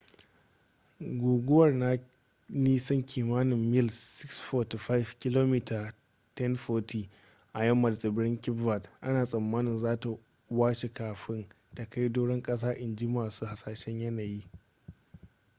guguwar na nisan kimanin mil 645 kilomita 1040 a yamma da tsibirin cape verde ana tsammanin za ta washe kafin ta kai doron kasa inji masu hasashen yanayi